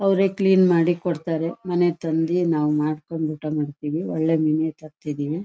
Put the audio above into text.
ಅವರೇ ಕ್ಲೀನ್ ಮಾಡಿಕೊಡತ್ತಾರೆ ಮನೆಗೆ ತಂದಿ ನಾವು ಮಾಡಕೊಂಡು ಊಟ ಮಾಡತ್ತಿವಿ ಒಳ್ಳೆ ಮೀನೆ ತರ್ತಿದೀವಿ.